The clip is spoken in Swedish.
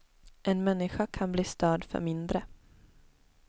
En människa kan bli störd för mindre.